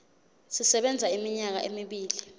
sisebenza iminyaka emibili